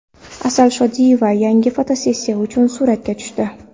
Asal Shodiyeva yangi fotosessiya uchun suratga tushdi .